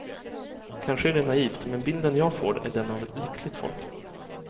Kanske är det naivt, men bilden jag får är den av ett lyckligt folk.